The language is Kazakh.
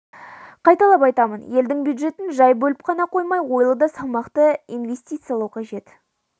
қайталап айтамын елдің бюджетін жай бөліп қана қоймай ойлы да салмақты инвестициялау қажет